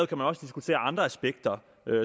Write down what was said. kan man også diskutere andre aspekter